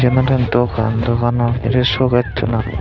eyan olode dugan dugano bedire suges sun aagon.